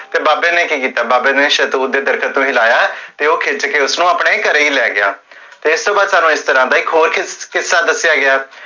ਤੇ ਬਾਬੇ ਨੇ ਕੀ ਕੀਤਾ, ਬਾਬੇ ਨੇ ਸ਼ੇਹਤੂਤ ਦੇ ਦਰਖਤ ਤੋ ਹਿਲਾਇਆ ਹੈ, ਤੇ ਓਹ ਖਿਚ ਕੇ ਉਸਨੁ ਆਪਣੇ ਘਰੇ ਹੀ ਲੈ ਗਿਆ ਇਸ ਤੋ ਬਾਦ ਤੁਹਾਨੂ ਇਸ ਤਰਹ ਦਾ ਇਕ ਹੋਰ ਕਿੱਸਾ ਦਸਿਆ ਗਿਆ